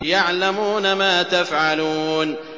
يَعْلَمُونَ مَا تَفْعَلُونَ